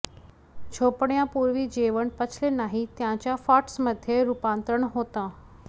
झोपण्यापूर्वी जेवण पचले नाही त्याचं फॅट्समध्ये रूपांतरण होतं